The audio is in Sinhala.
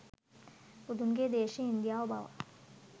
බුදුන්ගේ දේශය ඉන්දියාව බව